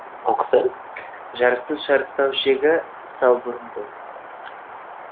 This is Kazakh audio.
жарыстың шарықтау шегі салбурын болды